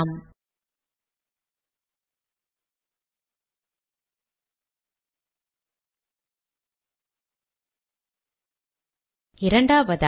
bullets க்கு பதிலாக நான் எண்களை பெற முடியுமா